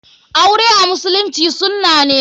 Aure a musulunci sunna ne.